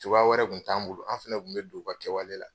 Cogoya wɛrɛ kun t'anw bolo, anw fɛnɛ kun be don u ka kɛwale la.